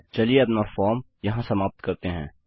चलिए अपनी फॉर्म यहाँ समाप्त करते हैं